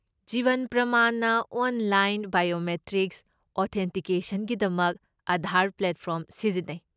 ꯖꯤꯕꯟ ꯄ꯭ꯔꯃꯥꯟꯅ online biometric ꯑꯣꯊꯦꯟꯇꯤꯀꯦꯁꯟꯒꯤꯗꯃꯛ Aadhaar platform ꯁꯤꯖꯤꯟꯅꯩ꯫